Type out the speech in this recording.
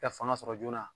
Ka fanga sɔrɔ joona